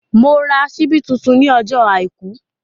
Mo ra ṣíbí tuntun ní ọjọ́ àìkú